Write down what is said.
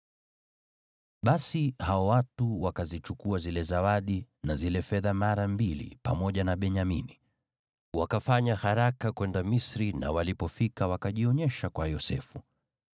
Basi hao watu wakazichukua zile zawadi na zile fedha mara mbili pamoja na Benyamini. Wakafanya haraka kwenda Misri na walipofika wakajionyesha kwa Yosefu.